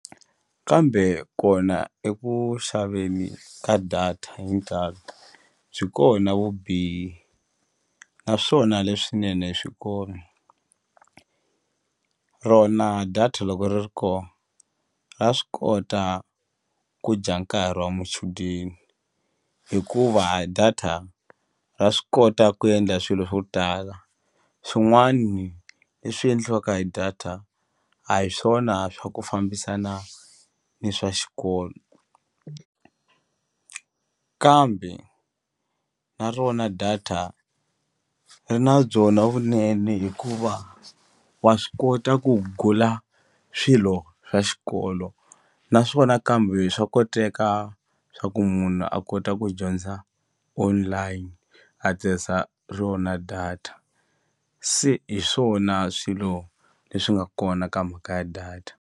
Kambe kona eku xaveni ka data hi ntalo byi kona vubihi naswona leswinene swi kona rona data loko ri ri ko ra swi kota ku dya nkarhi wa muchudeni hikuva a data ra swi kota ku endla swilo swo tala swin'wani leswi endliwaka hi data a hi swona swa ku fambisana ni swa xikolo kambe na rona data ri na byona vunene hikuva wa swi kota ku gula swilo swa xikolo naswona kambe swa koteka swa ku munhu a kota ku dyondza online a tirhisa rona data se hi swona swilo leswi nga kona ka mhaka ya data.